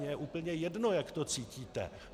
Mně je úplně jedno, jak to cítíte.